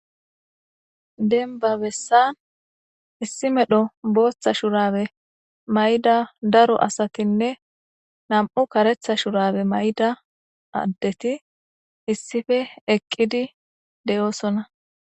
Denba bessan issi medho booththa shurabe mayda daro asatinne nam'u karetha shurabe mayda addeti issife eqqidi de'oosonna